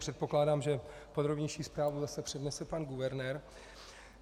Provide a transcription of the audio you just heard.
Předpokládám, že podrobnější zprávu zase přednese pan guvernér.